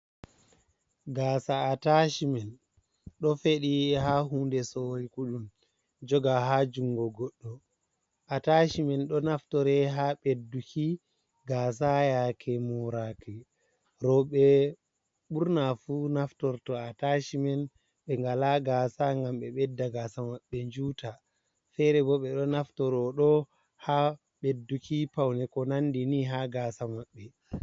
Gasa atashimen do fedi ha hunde sowi kudum joga ha jungo goddo ,atashi man do naftore ha bedduki gasa yake moraqi roube burna fu naftorto atashi man be ngala gasa gam be bedda gasa maɓɓe njuta fere bo be do naftoro do ha bedduki paune ko nandini ha gasa maɓbe.